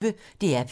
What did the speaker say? DR P1